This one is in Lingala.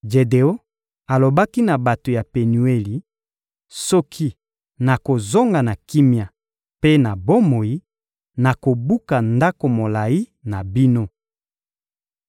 Jedeon alobaki na bato ya Penueli: «Soki nakozonga na kimia mpe na bomoi, nakobuka ndako molayi na bino.»